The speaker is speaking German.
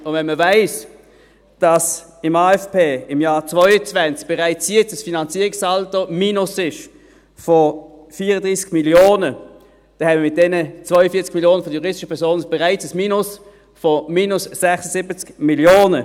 Und wenn man weiss, dass im AFP im Jahr 2022 bereits jetzt ein Finanzierungssaldo-Minus von 34 Mio. Franken vorhanden ist, dann haben wir mit diesen 42 Mio. Franken von den juristischen Personen bereits ein Minus von minus 76 Mio. Franken.